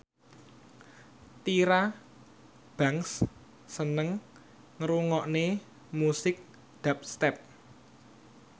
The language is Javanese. Tyra Banks seneng ngrungokne musik dubstep